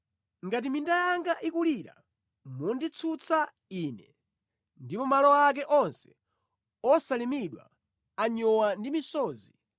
“Ngati minda yanga ikulira monditsutsa ine ndipo malo ake onse osalimidwa anyowa ndi misozi,